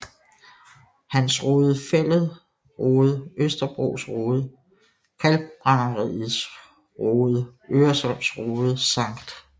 Hans Rode Fælled Rode Østerbros Rode Kalkbrænderiets Rode Øresunds Rode Skt